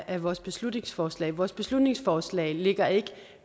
af vores beslutningsforslag vores beslutningsforslag lægger ikke